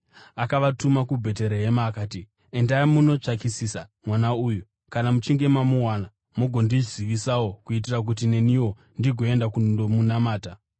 Akavatuma kuBheterehema akati, “Endai mundotsvakisisa mwana uyu. Kana muchinge mamuwana, mugondizivisawo kuitira kuti neniwo ndigoenda kundomunamata.”